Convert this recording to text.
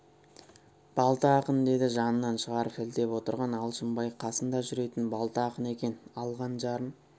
балта ақын деді жанынан шығарып сілтеп отырған алшынбай қасында жүретін балта ақын екен алған жарын